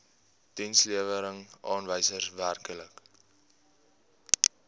dienslewerings aanwysers werklike